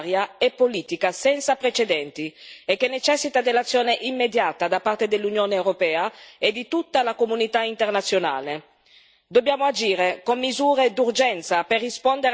Un paese che somma una crisi umanitaria, securitaria e politica senza precedenti e che necessita dell'azione immediata da parte dell'Unione europea e di tutta la comunità internazionale.